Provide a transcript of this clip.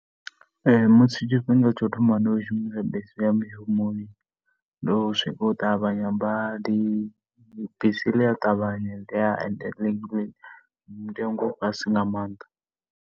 musi tshifhinga tsha u thoma ndi tshi khou shumisa bisi u ya mushumoni ndo swika u ṱavhanya badi. Bisi ḽi a ṱavhanya and ḽi, mutengo u fhasi nga maanḓa.